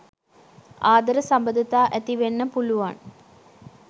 ආදර සබඳතා ඇති වෙන්න පුළුවන්.